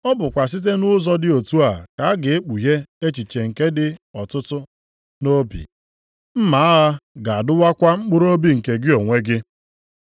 Ọ bụkwa site nʼụzọ dị otu a ka a ga-ekpughe echiche nke dị ọtụtụ nʼobi. Mma agha ga-adụwakwa mkpụrụobi nke gị onwe gị.”